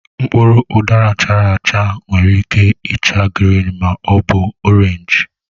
Mkpụrụ udara chara achaa nwere ike ịcha grịn ma ọ bụ orenji.